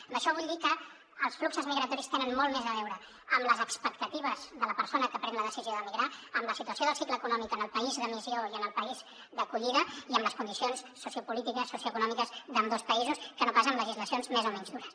amb això vull dir que els fluxos migratoris tenen molt més a veure amb les expectatives de la persona que pren la decisió d’emigrar amb la situació del cicle econòmic en el país d’emissió i en el país d’acollida i amb les condicions sociopolítiques socioeconòmiques d’ambdós països que no pas amb legislacions més o menys dures